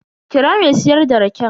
Kira me siyar da raken.